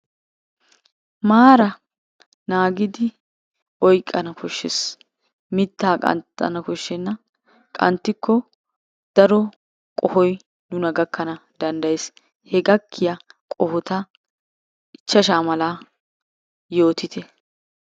Maara naagidi oyqana koshshees. Mittaa qanxana koshshenna. Qanxxikko daro qohoy nuna gakkana danddayees. He gakkiyaa qohota ichchashaa malaa yootite.